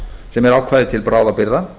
sem er ákvæði til bráðabirgða